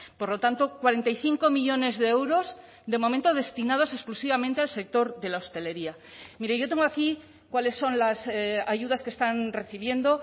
por lo tanto cuarenta y cinco millónes de euros de momento destinados exclusivamente al sector de la hostelería mire yo tengo aquí cuáles son las ayudas que están recibiendo